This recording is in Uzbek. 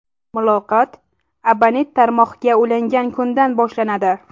Muloqot abonent tarmoqga ulangan kundan boshlanadi.